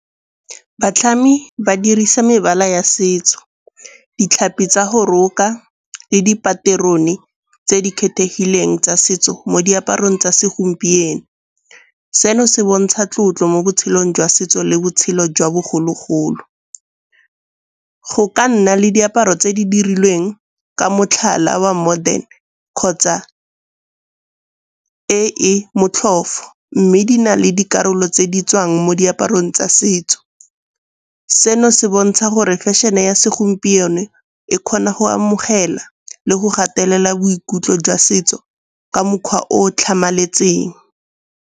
Batlhami ba dirisa mebala ya setso, ditlhapi tsa go roka le dipaterone tse di kgethegileng tsa setso mo diaparong tsa segompieno. Seno se bontsha tlotlo mo botshelong jwa setso le botshelo jwa bogologolo. Go ka nna le diaparo tse di dirilweng ka motlhala wa modern kgotsa e e motlhofo, mme di na le dikarolo tse di tswang mo diaparong tsa setso. Seno se bontsha gore fashion-e ya segompieno e kgona go amogela le go gatelela boikutlo jwa setso ka mokgwa o tlhamaletseng.